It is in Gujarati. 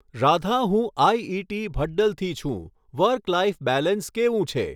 રાધા હું આઈઇટી ભડ્ડલથી છું વર્ક લાઇફ બેલેન્સ કેવું છે?